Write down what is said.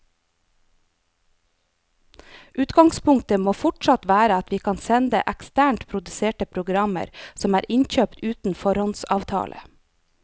Utgangspunktet må fortsatt være at vi kan sende eksternt produserte programmer som er innkjøpt uten foråndsavtale.